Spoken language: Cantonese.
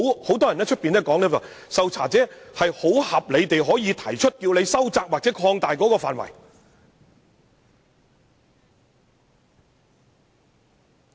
很多人說，受查者可合理要求收窄或擴大調查範圍。